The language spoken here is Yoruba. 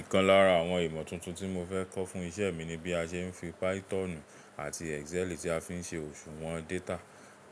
Ìkan lára àwọn ìmọ̀ tuntun tí mo fẹ́ kọ́ fún isẹ́ mi ni bí a ṣe ń fi Pythonù àti Excel tí a fi ń ṣe òṣùwọ̀n data,